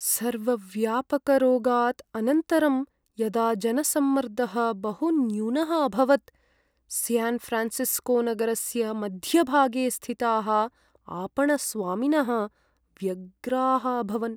सर्वव्यापकरोगात् अनन्तरं यदा जनसम्मर्दः बहुन्यूनः अभवत्, स्यान्फ़्रान्सिस्कोनगरस्य मध्यभागे स्थिताः आपणस्वामिनः व्यग्राः अभवन्।